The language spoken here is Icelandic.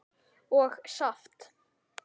og saft.